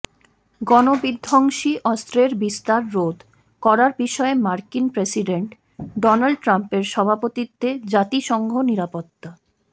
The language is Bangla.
গণবিধ্বংসী অস্ত্রের বিস্তার রোধ করার বিষয়ে মার্কিন প্রেসিডেন্ট ডোনাল্ড ট্রাম্পের সভাপতিত্বে জাতিসংঘ নিরাপত্তা